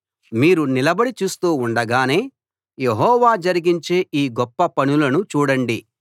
మీరు నిలబడి చూస్తూ ఉండగానే యెహోవా జరిగించే ఈ గొప్ప పనులను చూడండి